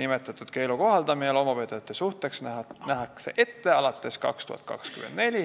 Nimetatud keelu kohaldamine loomapidajate suhtes nähakse ette alates 2024.